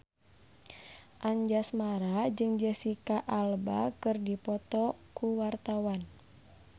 Anjasmara jeung Jesicca Alba keur dipoto ku wartawan